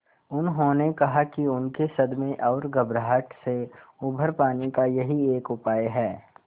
उन्होंने कहा कि उनके सदमे और घबराहट से उबर पाने का यही एक उपाय है